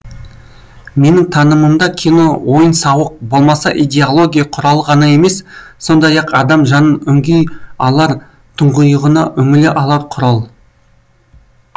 менің танымымда кино ойын сауық болмаса идеология құралы ғана емес сондай ақ адам жанын үңги алар тұңғиығына үңіле алар құрал